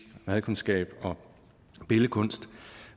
madkundskab og billedkunst